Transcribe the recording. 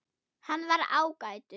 Hann var ágætur